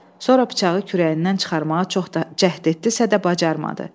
Sonra bıçağı kürəyindən çıxarmağa çox cəhd etdisə də bacarmadı.